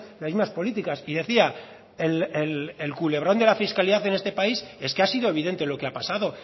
las mismas políticas y decía el culebrón de la fiscalidad en este país es que ha sido evidente lo que ha pasado